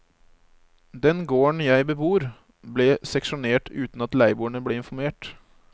Den gården jeg bebor, ble seksjonert uten at leieboerne ble informert.